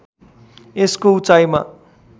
यसको उचाइमा